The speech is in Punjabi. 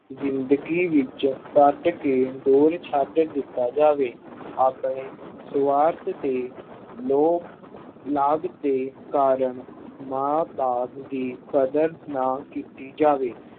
ਜ਼ਿੰਦਗੀ ਵਿੱਚੋਂ ਕੱਢ ਕੇ ਦੂਰ ਛੱਡ ਦਿੱਤਾ ਜਾਵੇ। ਆਪਣੇ ਸੁਆਰਥ ਤੇ ਲੋਭ, ਲਾਭ ਦੇ ਕਾਰਨ ਮਾਂ ਬਾਪ ਦੀ ਕਦਰ ਨਾ ਕੀਤੀ ਜਾਵੇ।